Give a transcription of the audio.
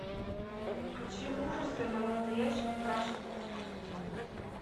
включи ужасы на настоящем страшном